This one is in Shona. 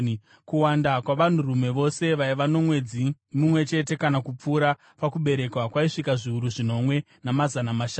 Kuwanda kwavanhurume vose vaiva nomwedzi mumwe chete kana kupfuura pakuberekwa kwaisvika zviuru zvinomwe, namazana mashanu.